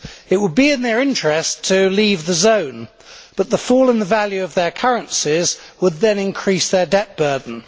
It would be in their interest to leave the zone, but the fall in the value of their currencies would then increase their debt burden.